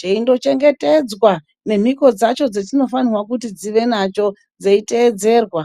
chechindochengetedzwa nemhiko dzacho dzachinofanire kunge chinadzo dzeindoteedzerwa.